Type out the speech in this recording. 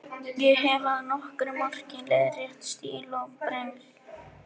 Ég hef að nokkru marki leiðrétt stíl og brengl.